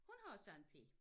Hun har så en pige